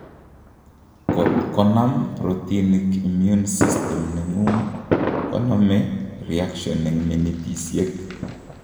Kot konam protinik immune system nengung' konomee reaction eng' minitisyek